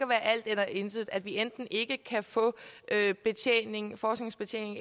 være alt eller intet altså at vi enten ikke kan få forskningsbetjening